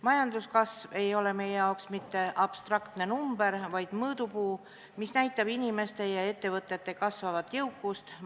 Majanduskasv ei ole meie jaoks mitte abstraktne number, vaid mõõdupuu, mis näitab inimeste ja ettevõtete kasvavat jõukust.